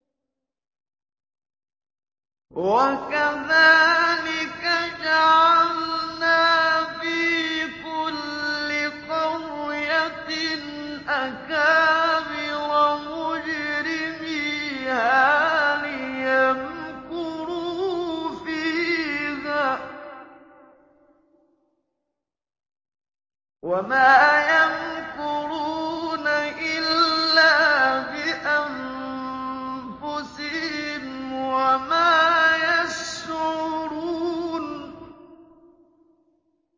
وَكَذَٰلِكَ جَعَلْنَا فِي كُلِّ قَرْيَةٍ أَكَابِرَ مُجْرِمِيهَا لِيَمْكُرُوا فِيهَا ۖ وَمَا يَمْكُرُونَ إِلَّا بِأَنفُسِهِمْ وَمَا يَشْعُرُونَ